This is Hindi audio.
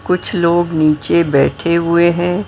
कुछ लोग नीचे बैठे हुए हैं।